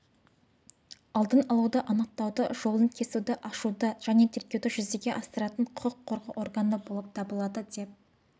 алдын алуды анықтауды жолын кесуді ашуды және тергеуді жүзеге асыратын құқық қорғау органы болып табыладыдеп